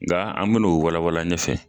Nka an bɛn'o walawala ɲɛ fɛ.